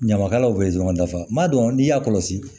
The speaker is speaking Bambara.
Ɲamakalaw bɛ ye dɔrɔn dafa ma dɔn n'i y'a kɔlɔsi